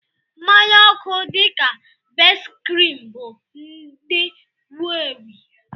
Mmanya oku dị ka Best-cream bụ ndị wu-ewu.